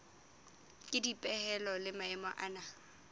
ke dipehelo le maemo ana